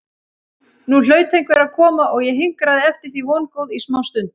Nú hlaut einhver að koma og ég hinkraði eftir því vongóð í smástund.